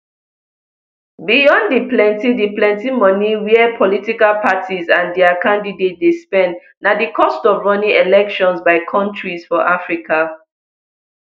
beyond di plenti di plenti moni wia political parties and dia candidates dey spend na di cost of running elections by kontris for africa